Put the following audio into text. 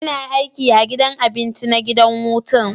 Ina aiki a gidan abinci na gidan hutun.